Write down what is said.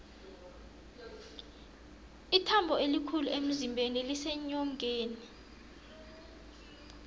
ithambo elikhulu emzimbeni liseenyongeni